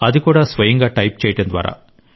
అది కూడా స్వయంగా టైప్ చేయడం ద్వారా